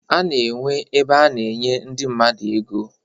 A na-enwe ebe a na-enye ndị mmadụ ego